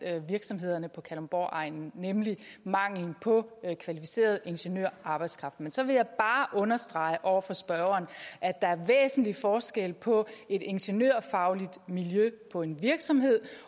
virksomhederne på kalundborgegnen nemlig mangelen på kvalificeret ingeniørarbejdskraft men så vil jeg bare understrege over for spørgeren at der er væsentlig forskel på et ingeniørfagligt miljø på en virksomhed